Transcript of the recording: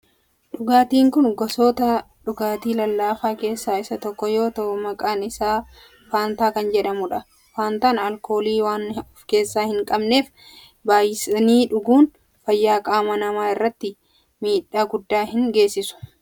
Dhugaatin kun gosoota dhugaatii lallaafaa keessaa isa tokko yoo ta'u maqaan isaa faantaa kan jedhamudha. Faantaan alkoolii waan of keessaa hin qabneef baayyisanii dhuguun fayyaa qaama namaa irratti miidhaa guddaa hin geessisu.